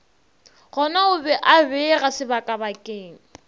gonao be a beega sebakabakeng